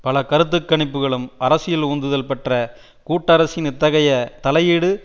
பல கருத்து கணிப்புக்களும் அரசியல் உந்துதல் பெற்ற கூட்டரசின் இத்தகைய தலையீடு